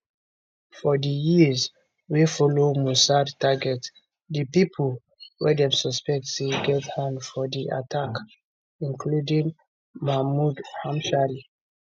for di years wey followmossad target di pipo wey dem suspect say get hand for di attack including mahmoud hamshari